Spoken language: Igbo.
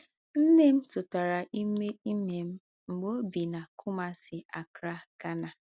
Nne m tụtara ime ime m mgbe o bi na Kumasi, Accra, Ghana.